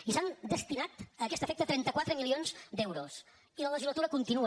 i s’han destinat a aquest efecte trenta quatre milions d’euros i la legislatura continua